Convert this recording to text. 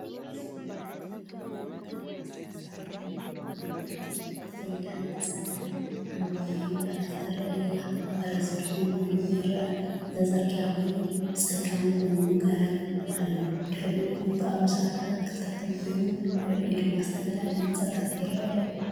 እዚ ብመዓልቲ ኣብ ጎደና ከተማ ዝተሳእለ እዩ። ኣብ መንገዲ ትኸይድ ሓንቲ ጻዕዳን ሓምላይን ፈረስ ጥራይ እያ። ፈረስ ድኹም ኮይኑ ይረአ። እዚ ጽርግያ ኮይኑ፡ ብጸጋም ጕንዲ ገረብ ኣሎ። ብድሕሪኡ ቁንጣሮ ሳዕርን ኣትክልትን ኮይኑ፡ ልዕሊኡ ድማ ዝተፈላለዩ ህንጻታት ይረኣዩ።